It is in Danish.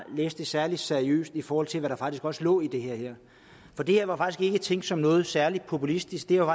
læst det særlig seriøst i forhold til hvad der faktisk også lå i det her for det her var faktisk ikke tænkt som noget særlig populistisk det